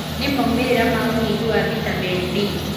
Nĩ maumĩrĩra ma unyihu wa vitamini D,